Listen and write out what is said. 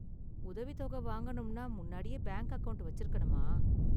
உதவித் தொகை வாங்கனும்னா முன்னாடியே பேங்க் அக்கவுண்ட் வச்சிருக்கணுமா?